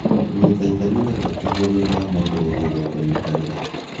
kũnyita itemi nĩ gwa tũhũ, thutha wa mũndũ gũthuurũo kũnyitanĩra